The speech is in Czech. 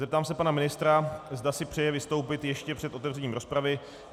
Zeptám se pana ministra, zda si přeje vystoupit ještě před otevřením rozpravy.